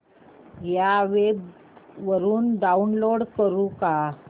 या वेब वरुन डाऊनलोड करू का